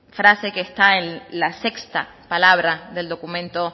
frase que está en la sexta palabra del documento